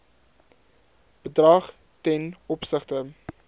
bedrag ten opsigte